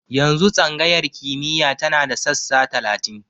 Yanzu tsangayar kimiyya tana da sassa talatin.